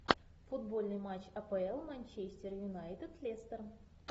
футбольный матч апл манчестер юнайтед лестер